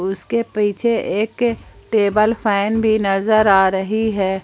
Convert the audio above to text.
उसके पीछे एक टेबल फैन भी नजर आ रही है।